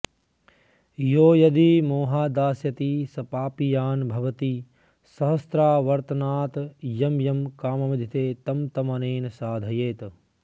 यो यदि मोहाद्दास्यति स पापीयान् भवति सहस्रावर्तनात् यं यं काममधीते तं तमनेन साधयेत्